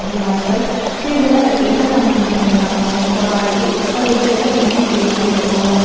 दीवार पर कई जगह लकड़ी का सामान भी टंगा हुआ है कबाड़ के ऊपर एक जगह इंची टेप भी रखा हुआ है कबा--